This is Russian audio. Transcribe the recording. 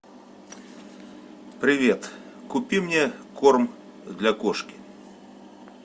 привет купи мне корм для кошки